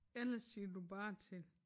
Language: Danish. Eller siger du bare til